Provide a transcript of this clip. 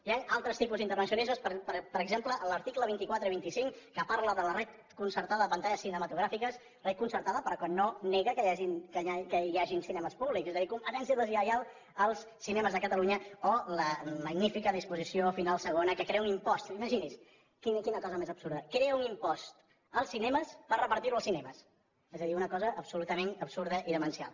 hi han altres tipus d’intervencionisme per exemple als articles vint quatre i vint cinc que parlen de la xarxa concertada de pantalles cinematogràfiques xarxa concertada però que no nega que hi hagin cinemes públics és a dir competència deslleial als cinemes de catalunya o la magnífica disposició final segona que crea un impost imagini’s quina cosa més absurda crea un impost als cinemes per repartir lo als cinemes és a dir una cosa absolutament absurda i demencial